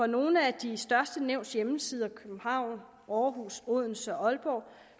nogle af de største nævns hjemmesider københavn århus odense og aalborg